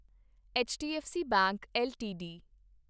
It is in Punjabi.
HDFC bank LTD